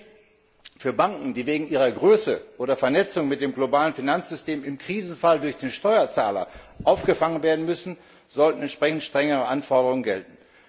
Sprich Für Banken, die wegen ihrer Größe oder Vernetzung mit dem globalen Finanzsystem im Krisenfall durch den Steuerzahler aufgefangen werden müssen, sollten entsprechend strengere Anforderungen gelten.